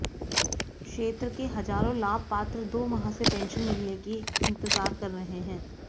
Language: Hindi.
क्षेत्र के हजारों लाभ पात्र दो माह से पेंशन मिलने की इंतजार कर रहे हैं